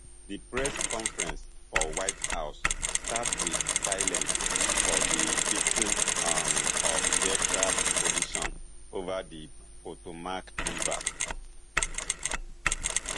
di press conference for white house start wit silence for di victims um of aircraft collision over di potomac river